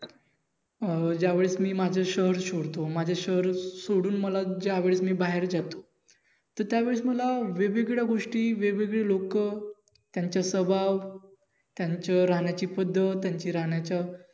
अं ज्यावेळेस मी माझं शहर सोडतो माझं शहर सोडून मला ज्यावेळेस मी बाहेर जातो तर त्यावेळेस मला वेगवेगळ्या गोष्टी वेगवेगळी लोक त्यांच स्वभाव त्यांचं रहाण्याची पद्धत त्यांची रहाण्याच